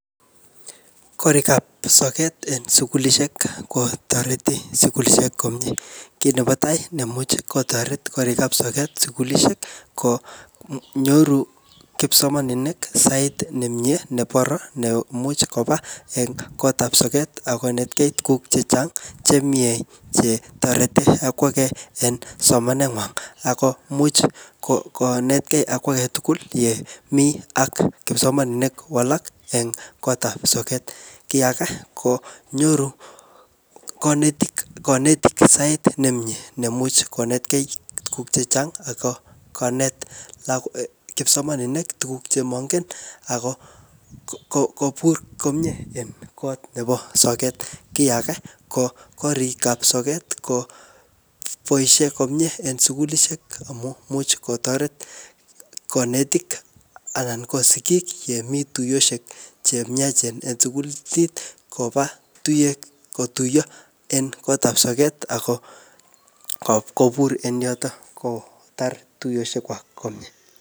Korik ap soket en sukulishek kotoreti sukulishek komyee. Kit nebo tai neimuch kotoret korik ap soket sukulishek, ko nyoru kipsomaninik sait nemyee ne boroi, ne imuch koba eng kot ap soket akonetkey tuguk chechang' che miee che toreti akwage eng somanet ngwang. Akomuch ko-konetkey akwae tugul yemii ak kipsomaninik alak eng kotap soket. Kiy age konyoru kanetik-kanetik sait ne miee nemuch konetkey tuguk chechang' ako konet kipsomaninik tuguk che mangen ako ko-kobur komyee eng kot nebo soket. Kiy age, ko korik ap soket koboisie komyee en sukulishek amu much kotoret kanetik anan ko sigik yemii tuyoshek che myachen eng sukulit koba tuyek kotuyo en kotap soket ako ko-kobur en yotok kotar tuyoshek kwak komyee.